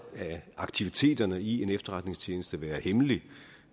af aktiviteterne i en efterretningstjeneste være hemmelige